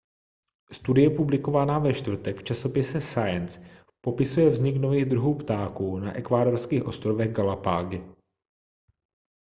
studie publikovaná ve čtvrtek v časopise science popisuje vznik nových druhů ptáků na ekvádorských ostrovech galapágy